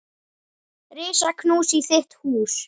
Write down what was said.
Risa knús í þitt hús.